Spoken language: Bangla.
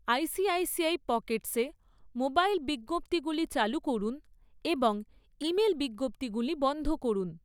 আইসিআইসিআই পকেটসে মোবাইল বিজ্ঞপ্তিগুলি চালু করুন এবং ইমেল বিজ্ঞপ্তিগুলি বন্ধ করুন৷